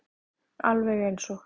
Alveg eins og